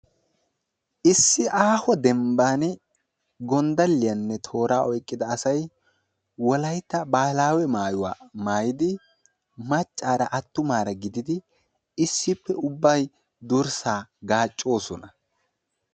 issi aaho dembani gondaliyanne toora oyqida assay wolaytta wogaa maayuwaa maayidi issippe ubbaykka durssa gaaccossona.